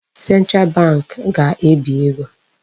Central Bank ga-ebi ego.